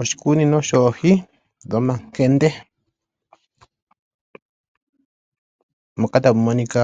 Oshikunino shoohi dhomankende moka tamu monika